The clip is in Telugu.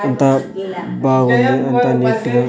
అంతా బాగుంది అంత నీటిగా.